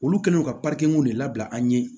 Olu kɛlen don ka de labila an ye